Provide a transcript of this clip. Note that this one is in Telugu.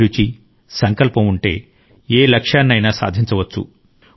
అభిరుచి సంకల్పం ఉంటే ఏ లక్ష్యాన్నయినా సాధించవచ్చు